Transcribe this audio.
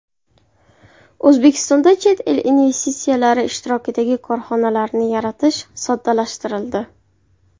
O‘zbekistonda chet el investitsiyalari ishtirokidagi korxonalarni yaratish soddalashtirildi.